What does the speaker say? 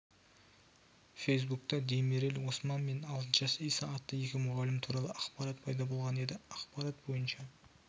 фейсбукта демирель осман мен алтынташ иса атты екі мұғалім туралы ақпарат пайда болған еді ақпарат бойынша